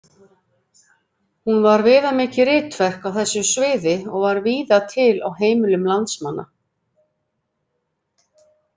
Hún var viðamikið ritverk á þessu sviði og var víða til á heimilum landsmanna.